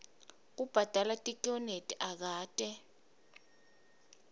kubhadala tikweleti akate